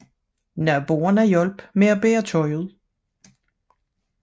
Naboerne hjalp med bære tøj ud